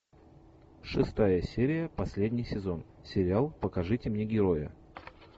шестая серия последний сезон сериал покажите мне героя